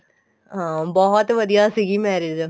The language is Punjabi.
ਹਾਂ ਬਹੁਤ ਵਧੀਆ ਸੀਗੀ marriage